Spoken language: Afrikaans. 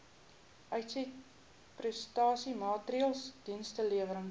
uitsetprestasie maatreëls dienslewerings